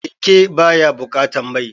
Keke ba ya buƙatan mai